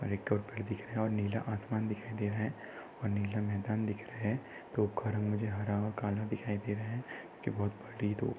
नीला आसमान दिखाई दे रहा है और नीला मैदान दिख रहा है तोफगाड़ा मुझे हारा और काला दिखाई दे रहा है।